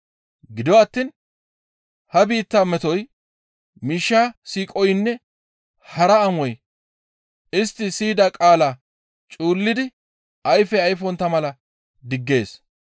Gido attiin ha biitta metoy, miishsha siiqoynne hara amoy istti siyida qaala cuullidi ayfe ayfontta mala diggees.